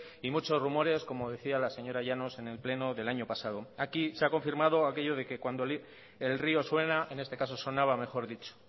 y muchos rumores como decía la señora llanos en el pleno del año pasado aquí se ha confirmado aquello de que cuando el río suena en este caso sonaba mejor dicho